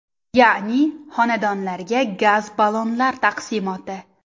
Ya’ni, xonadonlarga gaz ballonlar taqsimoti.